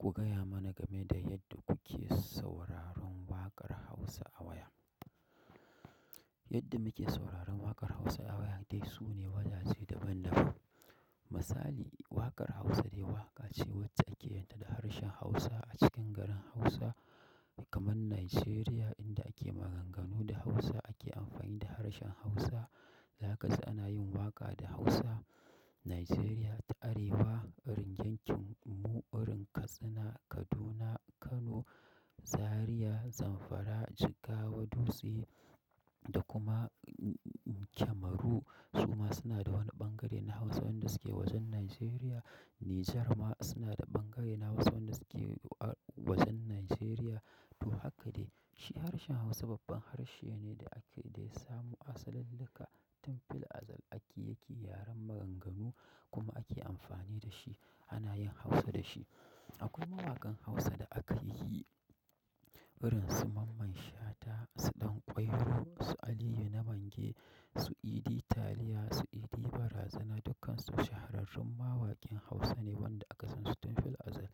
Ku gaya mana game da yadda kuke sauraron waƙar Hausa a waya. Yadda muke sauraron waƙar Hausa a waya dai su ne wajaje daban-daban. Misali, waƙar Hausa dai waƙa ce wacce ake yinta da harshen Hausa a cikin garin Hausa kamar Najeriya inda ake maganganu da Hausa ake amfani da harshen Hausa. Zaka ji ana yin waƙa da Hausa, Najeriya ta Arewa, irin yankin mu wurin Katsina, Kaduna, Kano, Zariya, Zamfara, Jigawa, Dutse da kuma Kemaru. Su ma suna da wani ɓangare na Hausa waɗanda suke wajen Najeriya. Nijar ma suna da ɓangare na Hausa waɗanda suke a wajen Najeriya. To haka dai, shi harshen Hausa babban harshe ne da ake, da ya samu asali daga tun fil azal ake yake yaren maganganu kuma ake amfani da shi ana yin Hausa da shi. Akwai mawaƙan Hausa da aka yi irin su Mamman Shata, su Dan Ƙwairo, su Aliyu Namange, su Idi Taliya, su Idi Barazana, dukkansu shahararrun mawaƙin Hausa ne waɗanda aka san su tun fil azal.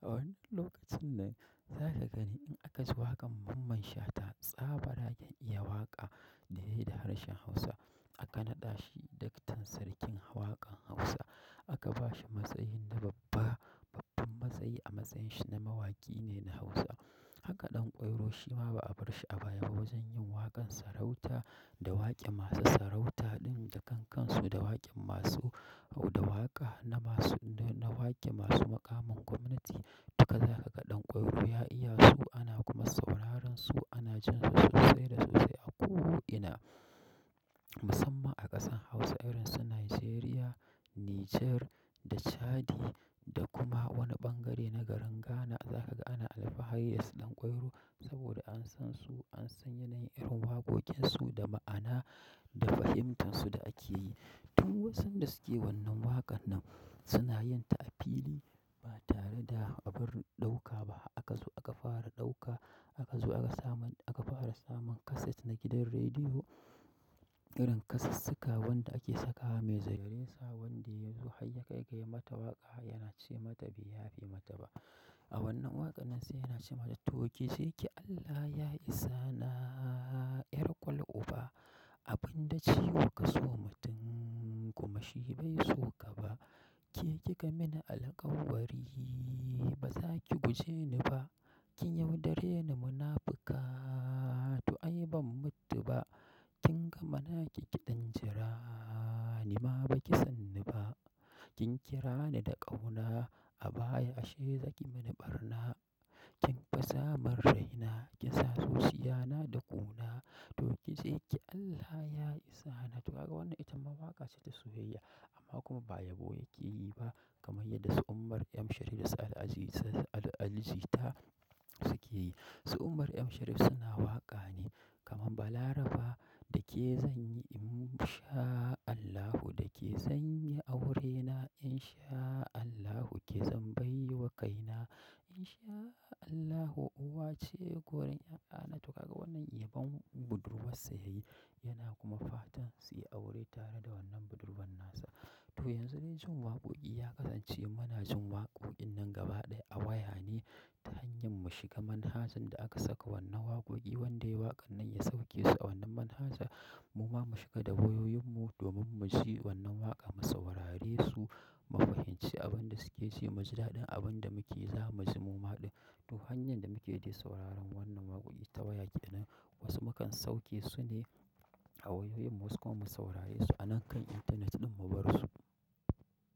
A wannan lokacin nan, za ka gani in aka ji waƙan Mamman Shata, tsabaragen iya waƙa da yayi da harshen Hausa. Akan naɗa shi daktan sarkin waƙan Hausa. Aka ba shi matsayi na babba, babbar matsayi a matsayin shi na mawaƙi ne na Hausa. Haka ɗan ƙwairo shima ba a barshi a baya ba wajen yin waƙan sarauta da waƙe masu sarauta ɗin da kan kansu da waƙe masu au da waƙa na masu, na waƙe masu maƙamin gwamnati. Duka za ka ga Dan Ƙwairo ya iya su ana kuma sauraron su ana jin su sosai da sosai a ko ina musamman a ƙasan Hausa irin su Najeriya, Nijar da Chadi da kuma wani ɓangare na garin Ghana. Za ka ga ana alfahari da su Dan Ƙwairo saboda an san su, an san yanayin irin waƙoƙin su da ma'ana da fahimtarsu da ake yi. Du wasun da suke wannan waƙan nan suna yin ta a fili ba tare da abar ɗauka ba. Aka zo aka fara ɗauka, aka zo aka saman, aka fara samun kaset na gidan rediyo. Irin kasissika wanda ake sakawa mai zagaye. Sa wanda ya zo har ya kai kai mata waƙa yana ce mata bai yafe mata ba. A wannan waƙan nan sai yana ce mata, "to ki je ki Allah ya isa na, 'yar kwal uba. Abin da ciwo ka so mutum kuma shi bai so ka ba. Ki kika min alkawari ba za ki guje ni ba. Kin yaudare ni munafuka to ai ban mutu ba. Kin gama naki ki ɗan jira ni ma baki san ni ba. Kin kira ni da ƙauna a baya ashe zaki mini ɓarna. Kin fasa min raina kinsa zuciya na da ƙuna. To ki ji ki Allah ya isa na." To kaga wannan ita ma waƙa ce ta soyayya amma kuma ba yabo yake yi ba kamar yadda su ummar M Sharif da su Alijita suke yi. Su ummar M Sharif suna waƙa ne kamar, "Balarafa da ke zan yi in sha Allahu, da ke zan yi aurena in sha Allahu, ke zan bai wa kaina in sha Allahu, uwa ce gurun ƴaƴana." To haka wannan yabon budurwarsa yayi yana kuma fatan suyi aure tare da wannan budurwan nasa. To yanzu dai jin waƙoƙi ya kasance muna jin waƙoƙin nan gaba ɗaya a waya ne ta hanyar mu shiga manhajan da aka saka wannan waƙoƙi wanda yayi waƙan nan ya sauke su a wannan manhaja. Mu ma mu shiga da wayoyin mu domin mu ji wannan waƙa mu saurare su, mu fahimci abin da suke ce mu ji daɗin abin da muke yi, za mu ji mu ma ɗin. To hanyar da muke dai sauraron wannan waƙoƙi ta waya ke nan. Wasu mukan sauke su ne a wayoyin mu wasu kuma mu saurare su anan kan internet ɗin mu bar su.